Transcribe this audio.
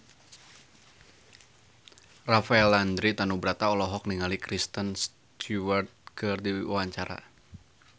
Rafael Landry Tanubrata olohok ningali Kristen Stewart keur diwawancara